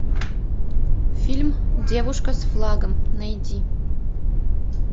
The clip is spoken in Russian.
фильм девушка с флагом найди